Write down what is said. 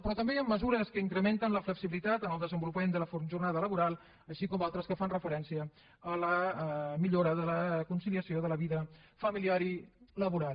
però també hi han mesures que incrementen la flexibilitat en el desenvolupament de la jornada laboral així com d’altres que fan referència a la millora de la conciliació de la vida familiar i laboral